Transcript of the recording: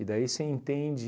E daí você entende...